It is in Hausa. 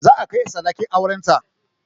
Za a kai sadakin auren ta